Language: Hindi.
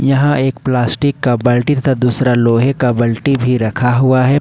यहां एक प्लास्टिक का बाल्टी तथा दूसरा लोहे का बल्टी भी रखा हुआ है।